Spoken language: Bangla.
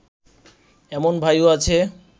এমন ভাইও আছে